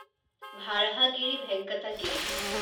Varahagiri Venkata Giri